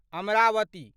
Amravati